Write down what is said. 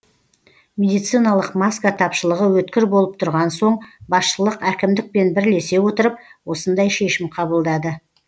медициналық маска тапшылығы өткір болып тұрған соң басшылық әкімдікпен бірлесе отырып осындай шешім қабылдады